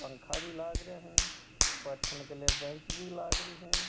पंखा भी लागरा है बैठने के लिए बैंच भी लागरी है।